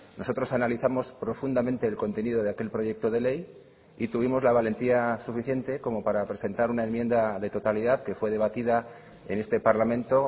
nosotros analizamos profundamente el contenido de aquel proyecto de ley y tuvimos la valentía suficiente como para presentar una enmienda de totalidad que fue debatida en este parlamento